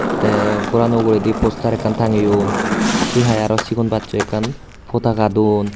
Te gorano uguredi postar ekkan tangeyon se hai aro sigon bacchoi ekkan potaka don.